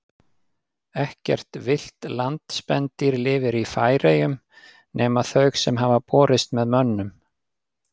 Ekkert villt landspendýr lifir í Færeyjum nema þau sem hafa borist með mönnum.